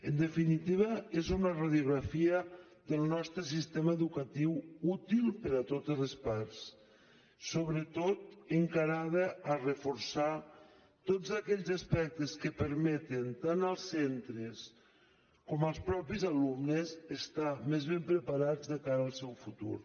en definitiva és una radiografia del nostre sistema educatiu útil per a totes les parts sobretot encarada a reforçar tots aquells aspectes que permeten tant als centres com als mateixos alumnes estar més ben preparats de cara al seu futur